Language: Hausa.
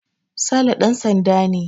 Sale ɗan sanda ne